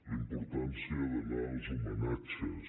la importància d’anar als homenatges